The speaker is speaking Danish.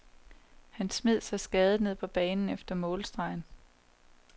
Han smed sig skadet ned på banen efter målstregen.